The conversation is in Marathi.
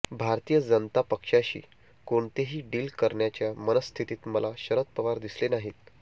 भारतीय जनता पक्षाशी कोणतेही डील करण्याच्या मनःस्थितीत मला शरद पवार दिसले नाहीत